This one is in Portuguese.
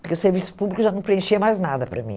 Porque o serviço público já não preenchia mais nada para mim.